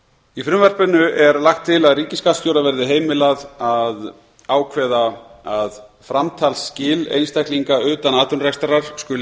í frumvarpinu er lagt til að ríkisskattstjóra verði heimilað að ákveða að framtalsskil einstaklinga utan atvinnurekstrar skuli